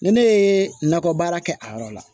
Ni ne ye nakɔ baara kɛ a yɔrɔ la